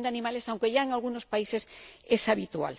de animales, aunque ya en algunos países es habitual.